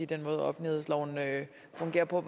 den måde offentlighedsloven fungerer på